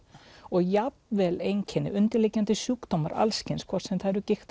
og jafn vel einkenni og undirliggjandi sjúkdómar hvort sem það eru